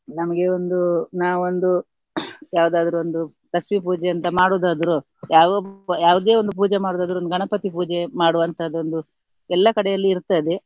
ನಮ್ಗೆ ಒಂದು ನಾವೊಂದು ಯಾವುದಾದ್ರು ಒಂದು ಲಕ್ಷ್ಮಿ ಪೂಜೆ ಅಂತ ಮಾಡುವುದಾದ್ರು ಯಾವ ಯಾವುದೇ ಒಂದು ಪೂಜೆ ಮಾಡುವುದಾದ್ರು ಒಂದು ಗಣಪತಿ ಪೂಜೆ ಮಾಡುವಂತದ್ದು ಒಂದು ಎಲ್ಲಾ ಕಡೆಯಲ್ಲಿ ಇರ್ತದೆ.